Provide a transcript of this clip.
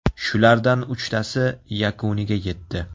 Shulardan uchtasi yakuniga yetdi.